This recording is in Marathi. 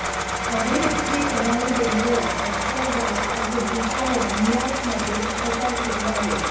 अभिनेत्री सोनाली बेंद्रेला कॅन्सर झाला असून तिच्यावर न्यू यॉर्कमध्ये उपचार सुरू आहेत